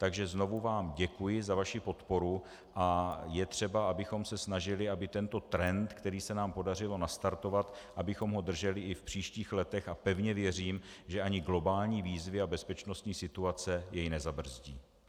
Takže znovu vám děkuji za vaši podporu a je třeba, abychom se snažili, aby tento trend, který se nám podařilo nastartovat, abychom ho drželi i v příštích letech, a pevně věřím, že ani globální výzvy a bezpečnostní situace jej nezabrzdí.